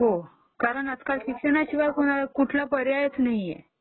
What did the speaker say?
हो..कारण आता शिक्षणाशिवाय कुठला पर्यायच नाहीये